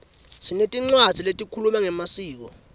sinetincwadzi letikhuluma ngemasiko